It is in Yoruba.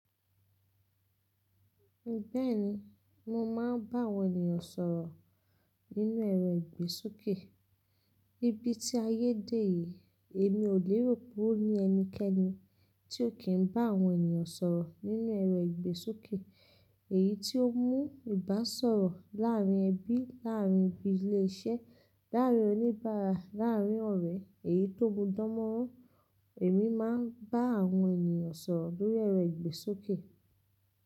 Bẹ́ẹ̀ni, mo máa ń bá àwọn ènìyàn sọ̀rọ̀ nínú ẹ̀rọ ìgbésókè. Níbi tí ayé dè yìí, èmi ò léèrò pé ó ní ẹnikẹ́ni tí ò kí n bá àwọn ènìyàn sọ̀rọ̀ nínú ẹ̀rọ ìgbésókè. Èyí tí ó mú ìbáṣọ̀rọ̀ láárín ẹbí, láárín ibi ilé iṣẹ́, láárín oníbàárà, láàrín ọ̀rẹ́, èyí tó bu dánmọ́rán, èmi máa ń bá àwọn ènìyàn sọ̀rọ̀ lórí ẹ̀rọ ìgbésókè.